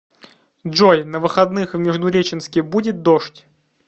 джой на выходных в междуреченске будет дождь